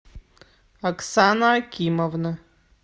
оксана акимовна